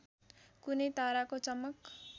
कुनै ताराको चमक